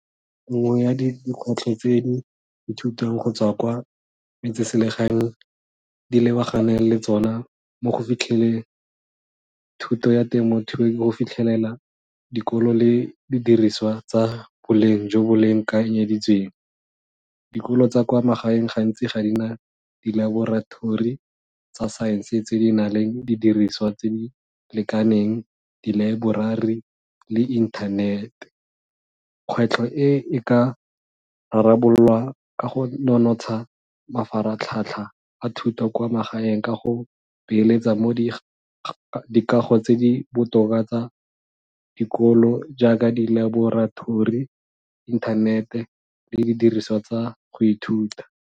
Nngwe ya dikgwetlho tse ithutang go tswa kwa metseselegaeng di lebaganeng le tsona mo go fitlheleng thuto ya temothuo ke go fitlhelela dikolo le di diriswa tsa boleng jo bolekanyeditsweng. Dikolo tsa kwa magaeng gantsi ga di na dilaborathori tsa science tse di nang le didiriswa tse di lekaneng, dilaeborari le inthanete. Kgwetlho e, e ka rarabololwa ka go nonotsha mafaratlhatlha a thuto kwa magaeng ka go beeletsa mo dikago tse di botoka tsa dikolo jaaka dilaborathori inthanete le didiriswa tsa go ithuta.